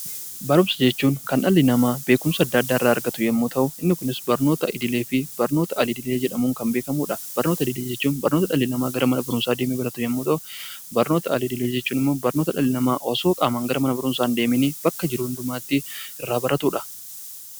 Barumsa jechuun kan dhalli namaa beekumsa adda addaa irraa argatu yommuu ta'u, inni kunis barnoota idilee fi barnoota al-idilee jedhamuun kan beekamudha. Barnoota idilee jechuun barnoota dhalli namaa gara mana barumsaa deemuun baratu yommuu ta'u, barnoota al-idilee jechuun immoo barnoota dhalli namaa qaamaan osoo mana barumsaa hin deemiin bakka jiru hundumaatti irraa baratudha.